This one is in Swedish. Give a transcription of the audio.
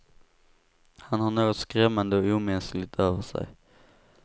Han har något skrämmande och omänskligt över sig.